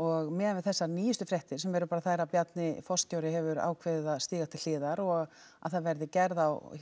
og miðað við þessar nýjustu fréttir sem eru bara þær að Bjarni forstjóri hefur ákveðið að stíga til hliðar og að það verði gerð á